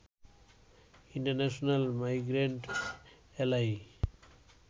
international migrant এ্যালাই